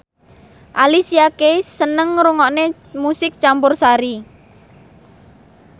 Alicia Keys seneng ngrungokne musik campursari